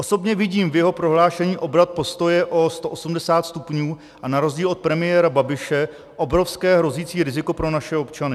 Osobně vidím v jeho prohlášení obrat postoje o 180 stupňů a na rozdíl od premiéra Babiše obrovské hrozící riziko pro naše občany.